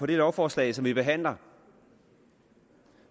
det lovforslag som vi behandler